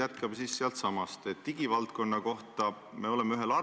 Jutt on nüüd sellest tunnelist, te ütlesite ette, et te räägite nalja tegemata.